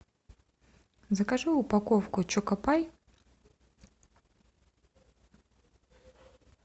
закажи упаковку чоко пай